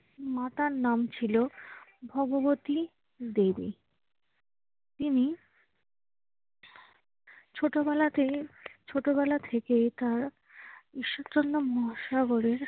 মাতার নাম ছিল ভগবতী দেবী। তিনি ছোটবেলাতে~ ছোটবেলা থেকে তার ঈশ্বরচন্দ্র মহাসাগরের